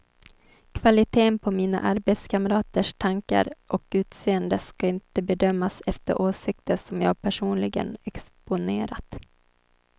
Kvaliteten på mina arbetskamraters tankar och utseende ska inte bedömas efter åsikter som jag personligen exponerat.